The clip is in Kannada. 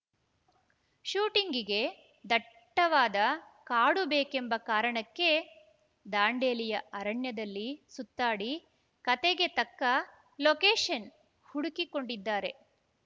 ಶೂಟಿಂಗಿಗೆ ದಟ್ಟವಾದ ಕಾಡು ಬೇಕೆಂಬ ಕಾರಣಕ್ಕೆ ದಾಂಡೇಲಿಯ ಅರಣ್ಯದಲ್ಲಿ ಸುತ್ತಾಡಿ ಕತೆಗೆ ತಕ್ಕ ಲೊಕೇಶನ್‌ ಹುಡುಕಿಕೊಂಡಿದ್ದಾರೆ